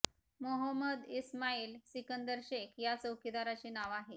मोहम्मद इस्माईल सिकंदर शेख या चौकीदाराचे नाव आहे